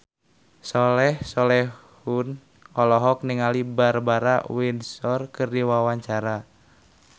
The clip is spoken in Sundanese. Soleh Solihun olohok ningali Barbara Windsor keur diwawancara